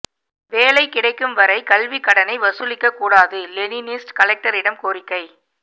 வேலை கிடைக்கும் வரை கல்விக்கடனை வசூலிக்க கூடாது லெனினிஸ்ட் கலெக்டரிடம் கோரிக்கை